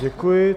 Děkuji.